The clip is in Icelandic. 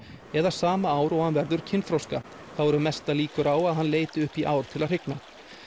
eða sama ár og hann verður kynþroska þá eru mestar líkur á að hann leiti upp í ár til að hrygna